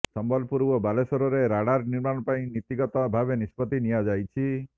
ସମ୍ବଲପୁର ଓ ବାଲେଶ୍ବରରେ ରାଡାର ନିର୍ମାଣ ପାଇଁ ନୀତିଗତ ଭାବେ ନିଷ୍ପତ୍ତି ନିଆଯାଇଛି